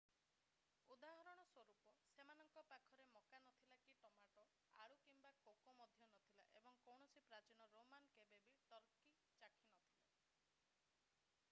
ଉଦାହରଣ ସ୍ଵରୂପ ସେମାନଙ୍କ ପାଖରେ ମକା ନଥିଲା କି ଟମାଟୋ ଆଳୁ କିମ୍ବା କୋକୋ ମଧ୍ୟ ନଥିଲା ଏବଂ କୌଣସି ପ୍ରାଚୀନ ରୋମାନ୍ କେବେ ବି ଟର୍କୀ ଚାଖିନଥିଲେ